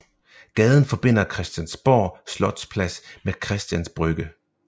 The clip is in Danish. Gaden forbinder Christiansborg Slotsplads med Christians Brygge